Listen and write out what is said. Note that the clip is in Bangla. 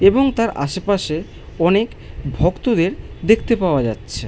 এবং তার আশেপাশে অনেক ভক্তদের দেখতে পাওয়া যাচ্ছে।